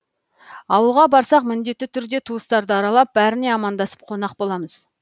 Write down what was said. ауылға барсақ міндетті түрде туыстарды аралап бәріне амандасып қонақ боламыз